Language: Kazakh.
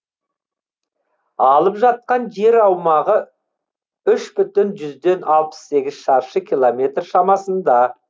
алып жатқан жер аумағы үш бүтін жүзден алпыс сегіз шаршы километр шамасында